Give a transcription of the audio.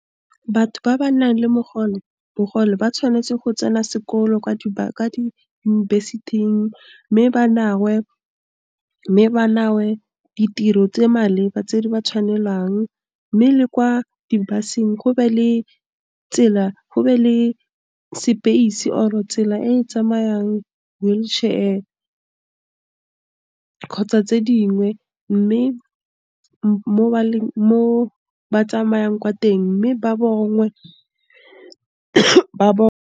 Batho ba ba nang le bogole, ba tshwanetse go tsena sekolo kwa diyunibesithing mme ba ditiro tse maleba tse di ba tshwanelang mme le kwa di-bus-eng go be le tsela, go be le space-e or-e tsela e tsamayang wheelchair, kgotsa tse dingwe mme mo ba tsamayang kwa teng, mme ba bangwe ba ba.